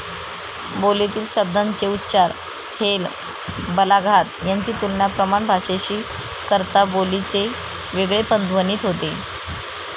बोलीतील शब्दांचे उच्चार, हेल, बलाघात यांची तुलना प्रमाण भाषेशी करता बोलीचे वेगळेपण ध्वनित होते.